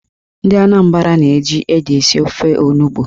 Ndị Anambra na-eji ede esi ofe onugbo.